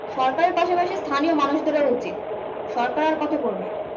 সরকারের পাশে পাশে স্থানীয় মানুষদেরও উচিত। সরকার আর কত করবে?